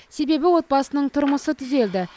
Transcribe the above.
себебі отбасының тұрмысы түзелді